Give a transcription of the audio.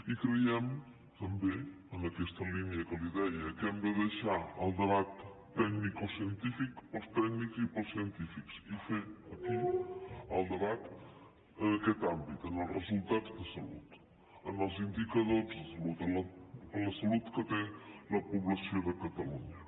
i creiem també en aquesta línia que li deia que hem de deixar el debat tecnicocientífic per als tècnics i per als científics i fer aquí el debat en aquest àmbit en els resultats de salut en els indicadors de salut en la salut que té la població de catalunya